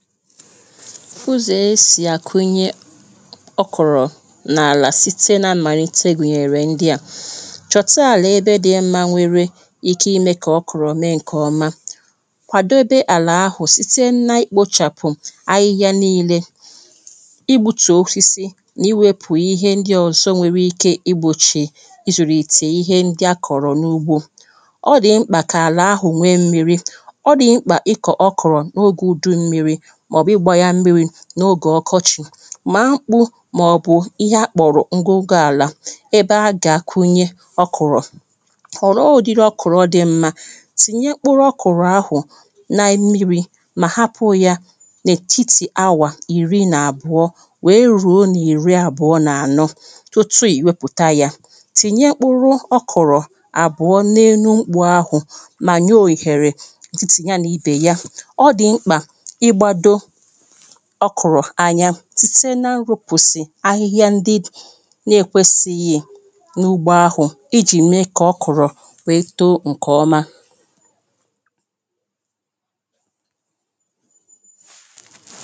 ú̩zò̩ é sì̩ à kwū̩ nyē ó̩krò̩ nà là síté ná ḿ̩mànītē mèrè n̩̄dī̩ à chò̩tā àlà ébé dī̩ m̩mā nwērē í̩ chó̩ í̩ mē kà ó̩krò̩ mé ǹ̩kè ō̩mā kwàdó ébé àlà āhù̩n síté ná í̩ kpō chàpù̩ áhí̩hí̩ nīnē í̩ gbū̩tù̩ ósísí nà í̩ wēpù íhé ń̩dí̩ ò̙zō̩ nwērē īkē í̩ gbòʧì í̩ jù̩rù̩ ìtì íhé ń̩dí̩ á kò̩rò̩ n úgbō ó̩ dì̩ ḿ̩kpà kà àlà hu̩n nwé mmī̩rī̩ ó̩ dì̩ ḿ̩kpà í̩ kò̩ ó̩krò̩ no:gʷu u̩du̩ mmī̩rī̩ mà ò̩bù̩ í gbā jā mmí̩rī̩ nà ógè ò̙kō̙ʧī mà kpū mà ò̩bù̩ íhé á kpò̩rò̩ ń̩góń̩gó àlà ébé á jà à kwũ̄nyē ó̩kùrò̩ o̩̩ òdīrī o̩kù̩rò̩ dī mma tìɲyē mkpú̩tú̩ ó̩kù̩rò̩ áhu̩n nà mmí̩rī mà hápū̩ yā n ètítī áwà ì̩rī nà àbʊ̀ɔ wè erùo nà ì̩rí̩ àbʊ̀ɔ nà ànɔ̄ tútú ì̩ wé pù̩tā jā tĩ̩̀nyē ḿ̩kpú̩̩rú̩ ó̩kù̩rò̩ àbù̩ó̩ nénú gbū̩ākwū mà jó hèrè sí sí já ní:bè yā ó̩ dì̩ m̩̄kpà í̩ gbādō ó̩kù̩rò̩ ānyā síté ná í rōpòsì áhí̩hí̩á ń̩dí̩ nèkwēsī yē n ugbo áhù̩ í ʤì̩ mē k'ó̩kù̩rò̩ wè étō ǹ̩kè ō̩mā